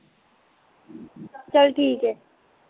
ਚੱਲ ਠੀਕ ਐ